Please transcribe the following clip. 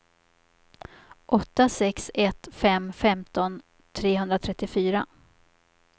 åtta sex ett fem femton trehundratrettiofyra